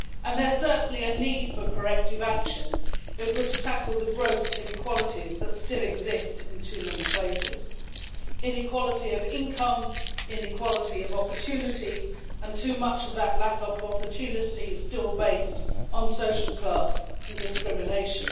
There is certainly a need for corrective action if we are to tackle the gross inequalities that still exist in too many places inequality of income, inequality of opportunity and too much of that lack of opportunity is still based on social class and discrimination.